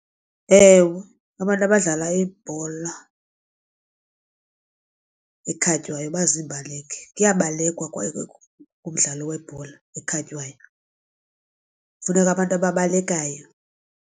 Ewe, abantu abadlala ibhola ekhatywayo baziimbaleki kuyabalulekwa kumdlalo webhola ekhatywayo, funeka abantu ababalekayo.